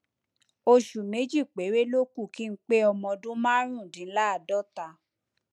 oṣù méjì péré ló kù kí n pé ọmọ ọdún márùndínláàádọta